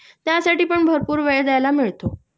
त्यासाठि पण भरपूर वेळ द्यायला मिळतो